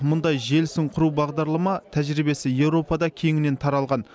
мұндай желісін құру бағдарлама тәжірибесі еуропада кеңінен таралған